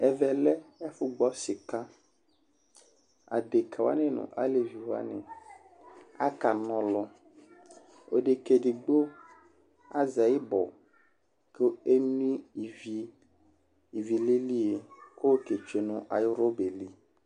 ɛvɛ lɛ ufu gbɔ sikaAɖeka wani nu alevi wani a ka na ɔlu, odeka edigbo azɛ ibɔ ku eno ivi, ivi lilie ko ke tsue nu ayu rɔba yɛ li